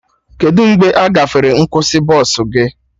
Kedụ mgbe agafere nkwụsị bọsụ gị?